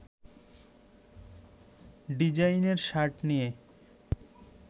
ডিজাইনের শার্ট নিয়ে